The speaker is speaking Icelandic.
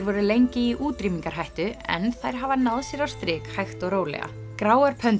voru lengi í útrýmingarhættu en þær hafa náð sér á strik hægt og rólega gráar